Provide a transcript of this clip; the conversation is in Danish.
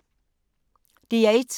DR1